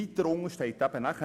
Weiter unten steht noch: